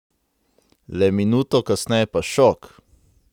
Le minuto kasneje pa šok!